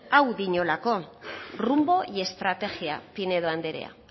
hau diolako rumbo y estrategia pinedo andrea